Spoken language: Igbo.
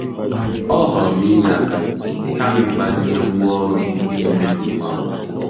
Ọ họọrọ inye aka kama ịgbazinye ngwa oru ndị na-amebi ngwa ngwa.